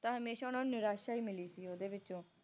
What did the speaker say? ਤਾ ਹਮੇਸ਼ਾ ਓਹਨਾ ਨੂੰ ਨਿਰਾਸ਼ਾ ਹੀ ਮਿਲੀ ਸੀ ਓਹਦੇ ਵਿੱਚੋ